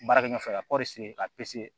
Baarakɛ ɲɔgɔn fɛ ka kɔɔri se ka